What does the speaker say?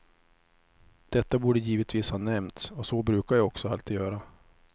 Detta borde givetvis ha nämnts, och så brukar jag också alltid göra.